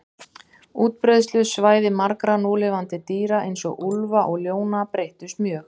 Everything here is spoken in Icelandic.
Útbreiðslusvæði margra núlifandi dýra, eins og úlfa og ljóna, breyttust mjög.